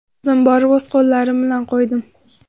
O‘zim borib, o‘z qo‘llarim bilan qo‘ydim.